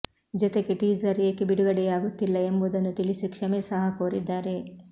ಜೊತೆಗೆ ಟೀಸರ್ ಏಕೆ ಬಿಡುಗಡೆಯಾಗುತ್ತಿಲ್ಲ ಎಂಬುದನ್ನು ತಿಳಿಸಿ ಕ್ಷಮೆ ಸಹ ಕೋರಿದ್ದಾರೆ